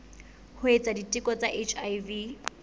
ho etsa diteko tsa hiv